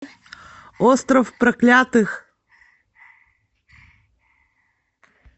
остров проклятых